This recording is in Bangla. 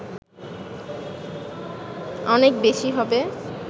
অনেক বেশী হবে